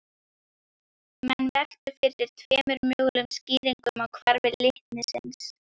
Menn veltu fyrir sér tveimur mögulegum skýringum á hvarfi litnisins.